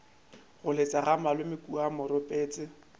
goletše ga malome kua moropetse